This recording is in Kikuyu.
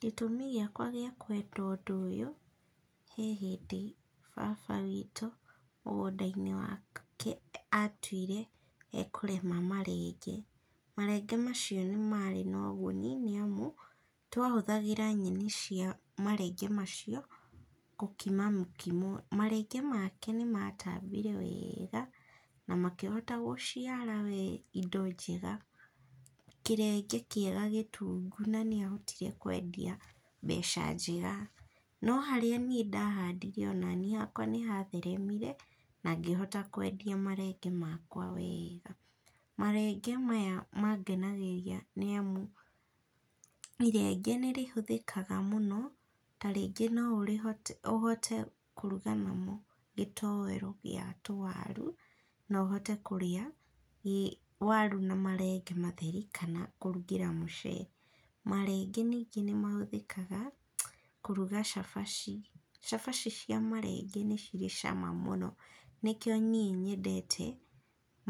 Gĩtũmi gĩakwa gĩa kwenda ũndũ ũyũ, he hĩndĩ baba witũ mũgũndainĩ wake atuire ekũrĩma marenge, marenge macio nĩmarĩ na ũguni, nĩamu, twahũthĩraga nyeni cia marenge macio, gũkima mũkimo. Marenge make nĩmatambire wega, namakĩhota gũciara we indo njega, kĩrenge kĩega gĩtungũ na nĩahotire kwendia mbeca njega, no harĩa niĩ ndahandire o naniĩ hakwa nĩhatheremire, na ngĩhota kwendia marenge makwa wega. Marenge maya mangenagĩria nĩamu irenge nĩrĩhũthĩkaga mũno, tarĩngĩ no ũrĩ ũhote kũruga namo gĩtowero gĩa tũwaru, no ũhote kũrĩa i waru na marenge matheri, kana kũrugĩra mũcere. Marenge ningĩ nĩmahũthĩkaga, kũruga cabaci. Cabaci cia marenge nĩcirĩ cama mũno, nĩkio niĩ nyendete